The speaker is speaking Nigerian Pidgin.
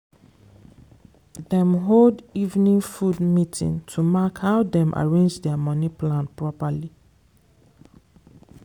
dem hold evening food meeting to mark how dem arrange their money plan properly.